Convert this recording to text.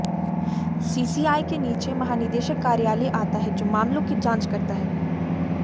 CCI के नीचे महानिदेशक कार्यालय आता है जो मामलों की जांच करता है